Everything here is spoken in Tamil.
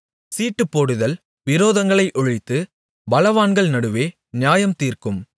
சீட்டுப்போடுதல் விரோதங்களை ஒழித்து பலவான்கள் நடுவே நியாயம்தீர்க்கும்